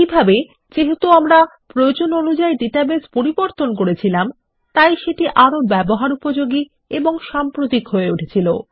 এইভাবে যেহেতু আমরা প্রয়োজন অনুযায় ডেটাবেস পরিবর্তন করেছিলাম তাই সেটি আরো ব্যবহার উপযোগী এবং সাম্প্রতিক হয়ে উঠেছিল